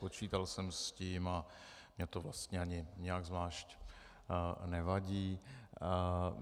Počítal jsem s tím a mně to vlastně ani nijak zvlášť nevadí.